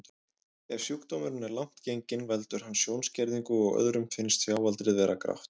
Ef sjúkdómurinn er langt genginn veldur hann sjónskerðingu og öðrum finnst sjáaldrið vera grátt.